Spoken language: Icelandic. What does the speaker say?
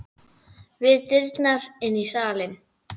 Við dyrnar inn í salinn.